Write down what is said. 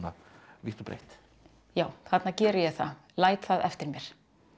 vítt og breitt já þarna geri ég það læt það eftir mér